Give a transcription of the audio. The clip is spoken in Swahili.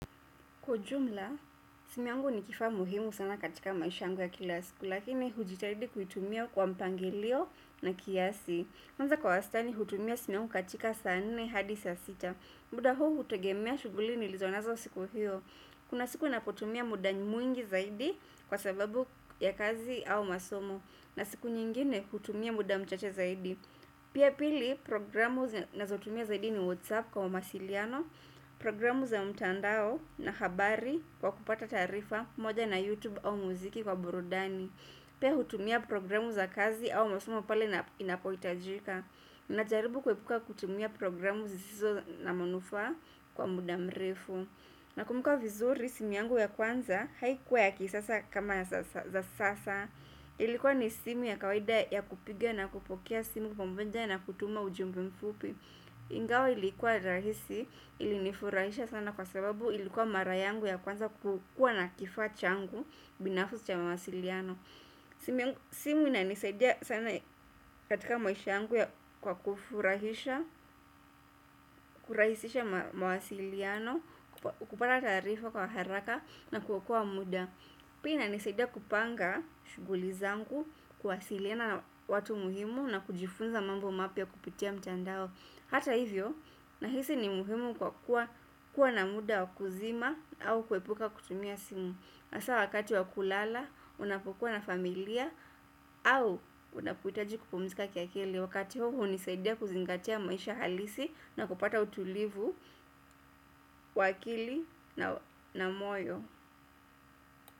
Kwa ujumla, simu yangu ni kifaa muhimu sana katika maisha yangu ya kila siku, lakini hujitahidi kuitumia kwa mpangilio na kiasi. Kwanza kwa wastani, hutumia simu yangu katika saa nne hadi saa sita. Muda huu hutegemea shughuli nilizo nazo siku hiyo. Kuna siku ninapotumia muda mwingi zaidi kwa sababu ya kazi au masomo. Na siku nyingine, hutumia muda mchache zaidi. Pia pili, programu ninazotumia zaidi ni WhatsApp kwa mawasiliano, programu za mtandao na habari kwa kupata taarifa moja na YouTube au muziki kwa burudani pia hutumia programu za kazi au masomo pale inapohitajika ninajaribu kuepuka kutumia programu zisizo na manufaa kwa muda mrefu nakumbuka vizuri simu yangu ya kwanza haikuwa ya kisasa kama za sasa ilikuwa ni simu ya kawaida ya kupiga na kupokea simu pamoja na kutuma ujumbe mfupi ingawa ilikuwa rahisi, ilinifurahisha sana kwa sababu ilikuwa mara yangu ya kwanza kukua na kifaa changu binafsi cha mawasiliano. Simu inanisaidia sana katika maisha yangu ya kwa kufurahisha, kurahisisha mawasiliano, kupata taarifa kwa haraka na kuokoa muda. Pia inanisaidia kupanga shughuli zangu, kuwasiliana na watu muhimu na kujifunza mambo mapya kupitia mtandao. Hata hivyo, nahisi ni muhimu kwa kuwa na muda wa kuzima au kuepuka kutumia simu. Hasa wakati wakulala, unapokuwa na familia au unapohitaji kupumzika kiakili. Wakati huo, hunisaidia kuzingatia maisha halisi na kupata utulivu wa akili na moyo.